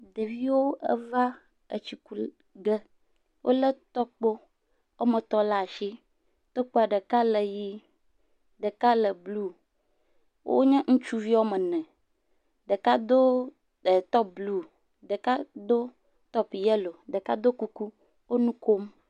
Ɖeviwo va etsiku ge, wolé tɔkpo woame etɔ̃ la si, tɔkpoa ɖeka le ƒi ɖeka le blu wonye ŋutsuvi woame ene, ɖeka do top blu, ɖeka do top yellow, ɖeka do kuku wo nu kom.